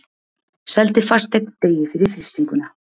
Seldi fasteign degi fyrir frystinguna